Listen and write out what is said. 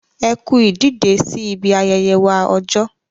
Ẹ kú ìdìdè sí ibi ayẹyẹ wa ọjọ.